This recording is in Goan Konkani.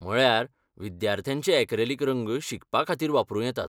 म्हळ्यार, विद्यार्थ्यांचे ऍक्रॅलिक रंग शिकपा खातीर वापरूं येतात.